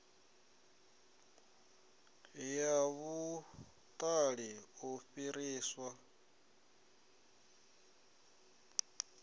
ya vhuṱali u fhiriswa ha